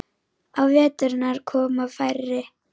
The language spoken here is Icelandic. Á veturna koma færri.